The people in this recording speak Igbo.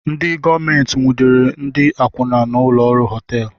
Ndị gọọmenti nwudere ndị akwụna na ụlọ họteelu